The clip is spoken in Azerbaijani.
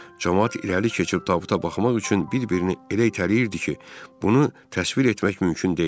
Camaat irəli keçib tabuta baxmaq üçün bir-birini elə itələyirdi ki, bunu təsvir etmək mümkün deyil.